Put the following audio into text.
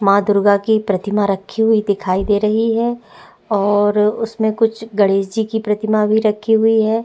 मां दुर्गा की प्रतिमा रखी हुई दिखाई दे रही है और उसमें कुछ गणेश जी की प्रतिमा भी रखी हुई है।